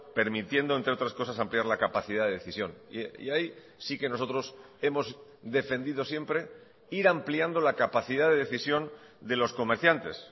permitiendo entre otras cosas ampliar la capacidad de decisión y ahí sí que nosotros hemos defendido siempre ir ampliando la capacidad de decisión de los comerciantes